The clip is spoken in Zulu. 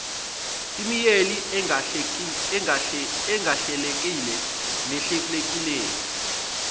imeyili engahlelekile nehlelekile